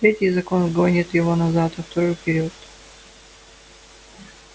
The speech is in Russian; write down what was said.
третий закон гонит его назад а второй вперёд